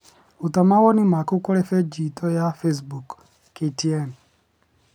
Ruta mawoni maku kũrĩ bĩnji itũ ya facebook, KTN